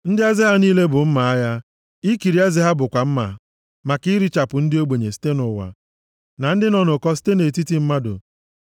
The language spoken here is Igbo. Ndị eze ha niile bụ mma agha ịkịrị eze ha bụkwa mma maka irichapụ ndị ogbenye site nʼụwa na ndị nọ nʼụkọ site nʼetiti mmadụ.